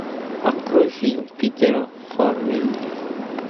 открой фильм питера фаррелли